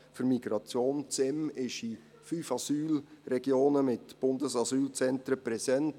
Das SEM ist in fünf Asylregionen mit Bundesasylzentren präsent.